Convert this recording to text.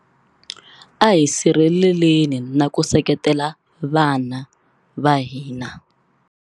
A hi sirheleleni na ku seketela vana va hina.